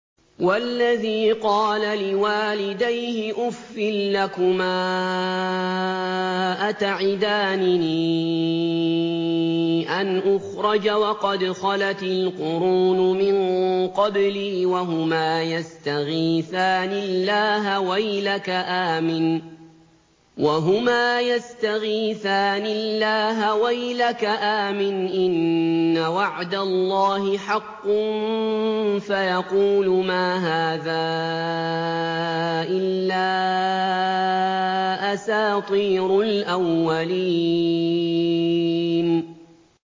وَالَّذِي قَالَ لِوَالِدَيْهِ أُفٍّ لَّكُمَا أَتَعِدَانِنِي أَنْ أُخْرَجَ وَقَدْ خَلَتِ الْقُرُونُ مِن قَبْلِي وَهُمَا يَسْتَغِيثَانِ اللَّهَ وَيْلَكَ آمِنْ إِنَّ وَعْدَ اللَّهِ حَقٌّ فَيَقُولُ مَا هَٰذَا إِلَّا أَسَاطِيرُ الْأَوَّلِينَ